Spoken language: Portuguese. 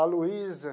A Luísa.